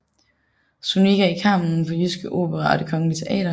Zuniga i Carmen på Jyske Opera og Det Kongelige Teater